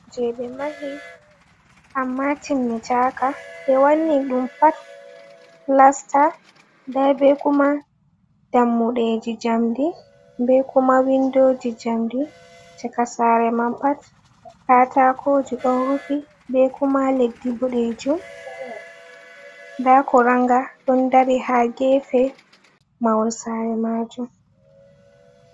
Saare jey ɓe mahi ammaa timmi naaka ,ɓe wanni ɗum pulasta. Nda be kuma dammuɗeeji njamdi be kuma winndooji njamndi. Caka saare man pat katakooji, ɗon rufi be kuma leddi boɗeejum, nda kurannga ɗon dari, haa geefe mahol saare maajum.